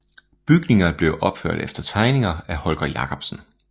Bygningerne blev opført efter tegninger af Holger Jacobsen